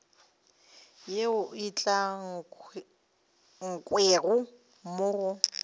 yeo e ukangwego mo go